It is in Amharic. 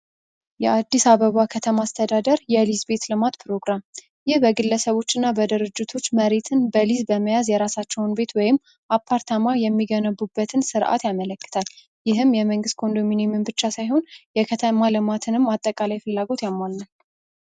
የአበባ ከተማ አስተዳደር የሊዝ ቤት ልማት ፕሮግራም ይህ በግለሰቦችና በድርጅቶች መሬትን በሊዝ በመያዝ የራሳቸውን ቤት ወይም አፓርታማ የሚገነቡበትን ሥርዓት ያመለክታል። ይህም የመንግሥት ኮንዶሚኒየምን ብቻ ሳይሆን የከተማ ልማት እና አጠቃላይ ፍላጎት ያሟላ ነው።